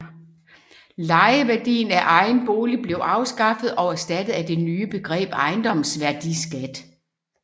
Lejeværdien af egen bolig blev afskaffet og erstattet af det nye begreb ejendomsværdiskat